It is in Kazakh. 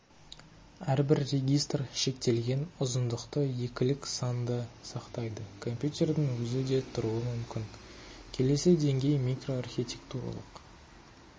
әрбір регистр шектелген ұзындықты екілік санды сақтайды компьютердің өзі де тұруы мүмкін келесі деңгей микроархитектуралық